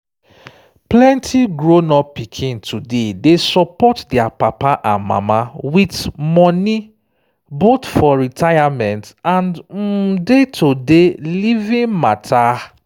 plenty grown-up pikin today dey support their papa and mama with money—both for retirement and um day-to-day living matter